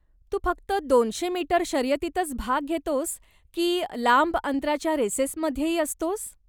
तू फक्त दोनशे मीटर शर्यतींतच भाग घेतोस की लांब अंतराच्या रेसेसमध्येही असतोस?